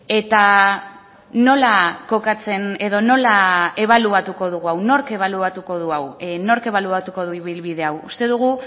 eta nola kokatzen edo nola ebaluatuko dugu hau nork ebaluatuko du hau nork ebaluatuko du ibilbide hau uste dugu